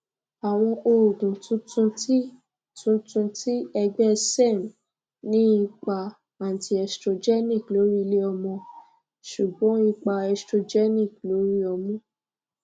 awọn oogun tuntun ti tuntun ti ẹgbẹ serm ni ipa antiestrogenic lori ileọmọ ṣugbọn ipa estrogenic lori ọmu